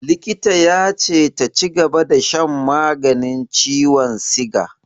Likita ya ce ta cigaba da shan maganin ciwon siga.